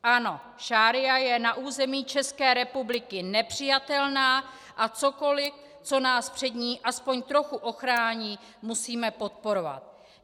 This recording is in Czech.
Ano, šaría je na území České republiky nepřijatelná a cokoli, co nás před ní aspoň trochu ochrání, musíme podporovat.